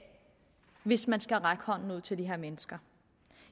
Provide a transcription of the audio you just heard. hvis man skal række hånden ud til de her mennesker